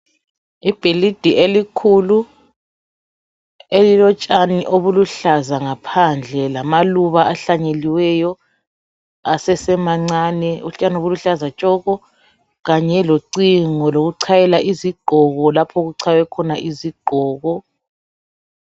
ibhilidi elikhulu elilotshani obuluhlaza ngaphandle lamaluba ahlanyeliweyo asesemancane utshani buluhlaza tshoko kanye locingo lokuchayela izigqoko lapho okuchaywe khona izigqoko